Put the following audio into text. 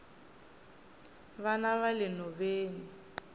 vana vale nhoveni